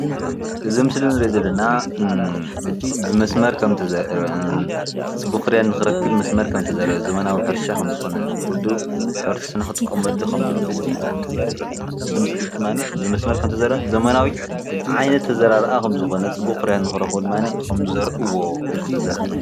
እዚ ምስሊ ንሪኦ ዘለና ብመስመር ከም ዝተዘርአ፣ ፅቡቅ ፍረ ንክረክብ ብመስመር ከም ዝተዘርአ ዘመናዊ ሕርሻ ከምዝኾነን ኩሉ ሕብረተሰብና ክጥቀመሉ ከምዘለዎ ድማ ይሕብረልና:: እዚ ምስሊ ድማ ብ መስመር ከም ዝተዘርአን ዘመናዊ ዓይነት ኣዘራርኣ ከም ዝኾነን ፅቡቅ ፍርያት ንኽረክቡ ድማ ከምዝዘርእዎ ከም ዝተዘርአ።